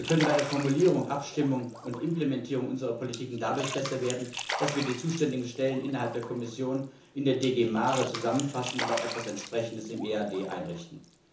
Aber wir können bei der Formulierung, Abstimmung und Implementierung unserer Politik dadurch besser werden, dass wir die zuständigen Stellen innerhalb der Kommission in der GD MARE zusammenfassen und auch etwas Entsprechendes im EAD einrichten.